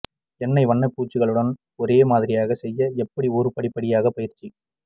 எண்ணெய் வண்ணப்பூச்சுகளுடன் ஒரே மாதிரியாக செய்ய எப்படி ஒரு படி படிப்படியாக பயிற்சி